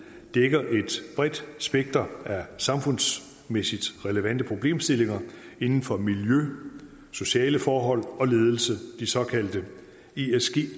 dækker et bredt spektrum af samfundsmæssigt relevante problemstillinger inden for miljø sociale forhold og ledelse de såkaldte esg